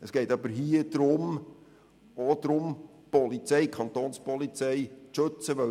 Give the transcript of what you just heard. Es geht hier jedoch auch darum, die Kapo zu schützen.